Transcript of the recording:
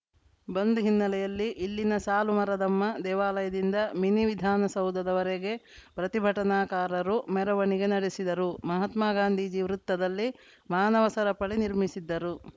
ಬಂದ್‌ ಹಿನ್ನಲೆಯಲ್ಲಿ ಇಲ್ಲಿನ ಸಾಲುಮರದಮ್ಮ ದೇವಾಲಯದಿಂದ ಮಿನಿ ವಿಧಾನಸೌಧದವರೆಗೆ ಪ್ರತಿಭಟನಾಕಾರರು ಮೆರವಣಿಗೆ ನಡೆಸಿದರು ಮಹಾತ್ಮಗಾಂಧಿಜಿ ವೃತ್ತದಲ್ಲಿ ಮಾನವ ಸರಪಳಿ ನಿರ್ಮಿಸಿದ್ದರು